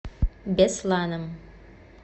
бесланом